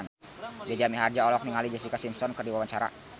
Jaja Mihardja olohok ningali Jessica Simpson keur diwawancara